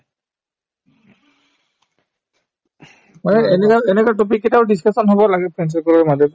মানে এনেকুৱাত এনেকুৱা topic কেইটাও discussion হব লাগে friend circle ৰ মাজত